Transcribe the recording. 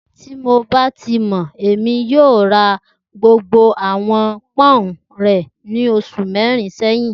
Ti mo ba ti mọ, Emi yoo ti ra gbogbo awọn poun rẹ ni oṣu mẹrin sẹyin